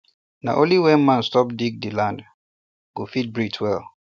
na only when man stop to dig the land go fit breathe well